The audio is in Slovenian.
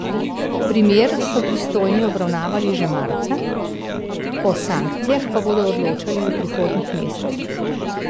Primer so pristojni obravnavali že marca, o sankcijah pa bodo odločali v prihodnjih mesecih.